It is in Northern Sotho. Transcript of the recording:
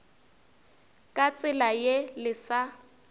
ka tsela ye le sa